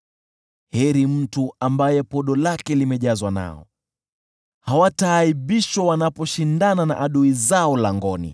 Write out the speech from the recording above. Heri mtu ambaye podo lake limejazwa nao. Hawataaibishwa wanaposhindana na adui zao langoni.